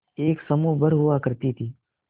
एक समूह भर हुआ करती थी